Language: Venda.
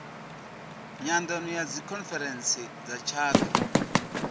nyandano ya dzikhonferentsi dza tshaka